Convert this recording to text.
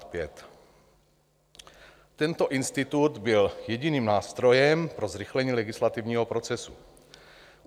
Tento institut byl jediným nástrojem pro zrychlení legislativního procesu.